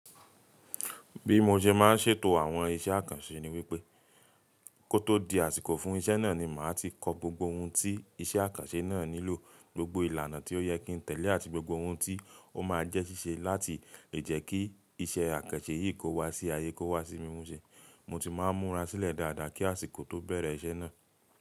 Bí mo ṣe máa ń ṣètò àwọn iṣẹ́ àkànṣe ni wípé kó tó di àsìkò fún iṣẹ́ náà ni màá ti kọ gbogbo ohun tí iṣẹ́ àkànṣe náà nílò, gbogbo ìlànà tí ó yẹ kí n tẹ̀lé àti gbogbo ohun tí ó máa jẹ́ ṣíṣe láti lè jẹ́ kí iṣẹ́ àkànṣe yìí kó wá sí ayé, kó wá sí mímúṣe. Mo ti máa n múra sílẹ̀ dáadáa kí àsìkò tó bẹ̀rẹ̀ iṣẹ́ náà.